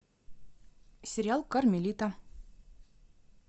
сериал кармелита